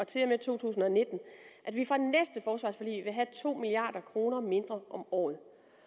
til og med to tusind og nitten vil have to milliard kroner mindre om året